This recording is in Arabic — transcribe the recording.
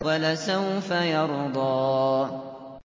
وَلَسَوْفَ يَرْضَىٰ